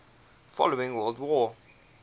following world war